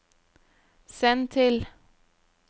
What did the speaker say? send til